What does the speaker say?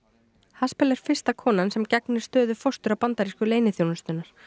haspel er fyrsta konan sem gegnir stöðu forstjóra bandarísku leyniþjónustunnar